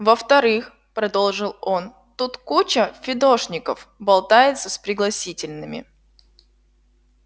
во-вторых продолжил он тут куча фидошников болтается с пригласительными